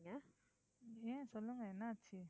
ஏன் சொல்லுங்க என்ன ஆச்சு?